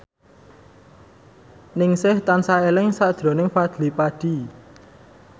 Ningsih tansah eling sakjroning Fadly Padi